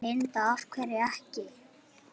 Linda: Af hverju ekki?